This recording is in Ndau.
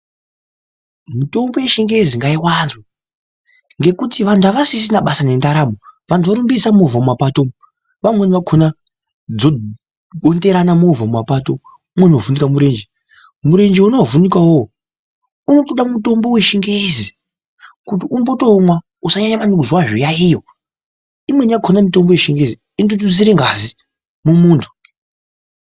Mitombo yechingezi ngaiwazwee, ngekuti vantu havasisina basa ngendaramo, vantu vorumbisa movha mumapato, vamweni vakona dzobonderana movha mumapato, umweni wovhunika murenje. Murenje wona wavhunika iwowo unotoda mutombo wechingezi kuti umbotomwaa usanyanya kuzwaa zviyayiyo. Imweni yakona mutombo yechingezi inototusire ngazi mumuntu.